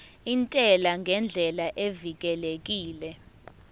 intela ngendlela evikelekile